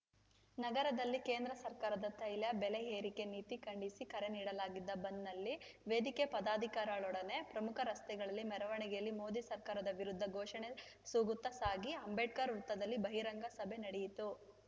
ನಗರದಲ್ಲಿ ಕೇಂದ್ರ ಸರ್ಕಾರದ ತೈಲ ಬೆಲೆ ಏರಿಕೆ ನೀತಿ ಖಂಡಿಸಿ ಕರೆ ನೀಡಲಾಗಿದ್ದ ಬಂದ್‌ನಲ್ಲಿ ವೇದಿಕೆ ಪದಾಧಿಕಾರಗಳೊಡನೆ ಪ್ರಮುಖ ರಸ್ತೆಗಳಲ್ಲಿ ಮೆರವಣಿಗೆಯಲ್ಲಿ ಮೋದಿ ಸರ್ಕಾರದ ವಿರುದ್ಧ ಘೋಷಣೆ ಸೂಗುತ್ತಾ ಸಾಗಿ ಅಂಬೇಡ್ಕರ್‌ ವೃತ್ತದಲ್ಲಿ ಬಹಿರಂಗ ಸಭೆ ನಡೆಯಿತು